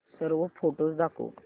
सर्व फोटोझ दाखव